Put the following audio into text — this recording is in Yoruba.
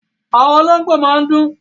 Àwọn olóńgbó máa ń dún.